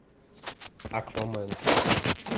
аквамен